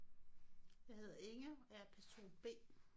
Jeg hedder Inge og jeg er person B